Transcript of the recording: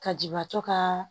Ka jibatɔ ka